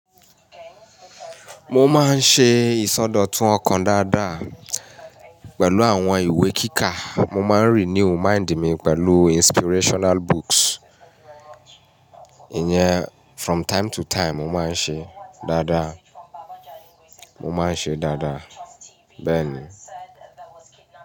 Mo máa ń ṣe ìsọdọ̀tun ọkàn dáadáa pẹ̀lú àwọn ìwé kíkà. Mo máa ń renew mind mi pẹ̀lú inspirational books. Ìyẹn from time to time mo máa ń ṣe dáadáa, mo máa ń ṣe dáadáa bẹ́ẹ̀ ni.